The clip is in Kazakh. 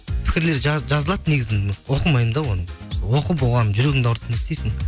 пікірлер жазылады негізі оқымаймын да оны оқып оған жүрегіңді ауыртып не істейсің